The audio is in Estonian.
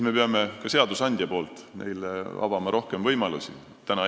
Me peame ka seadusandjana neile rohkem võimalusi avama.